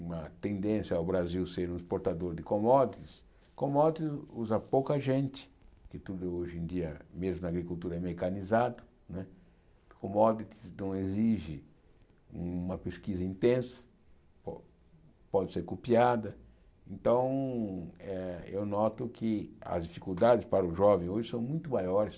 uma tendência ao Brasil ser um exportador de commodities, commodities usa pouca gente, que tudo hoje em dia, mesmo na agricultura, é mecanizado né, commodities então exige uma pesquisa intensa, po pode ser copiada, então eh eu noto que as dificuldades para o jovem hoje são muito maiores